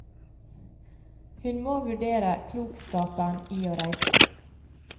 Hun må vurdere klokskapen i å reise.